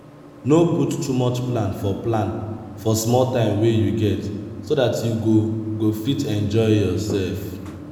no put too much plan for plan for small time wey you get so dat you go go fit enjoy yourself